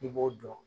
I b'o dɔn